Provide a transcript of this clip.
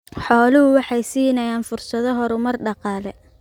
Xooluhu waxay siinayaan fursado horumar dhaqaale.